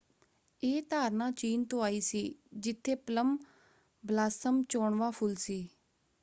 ਇਹ ਧਾਰਨਾ ਚੀਨ ਤੋਂ ਆਈ ਸੀ ਜਿੱਥੇ ਪਲੱਮ ਬ੍ਲਾਸਮ ਚੋਣਵਾਂ ਫੁੱਲ ਸੀ।